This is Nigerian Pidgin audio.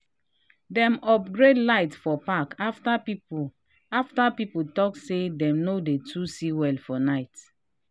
dem upgrade light for park after people after people talk say dem no dey too see well for night.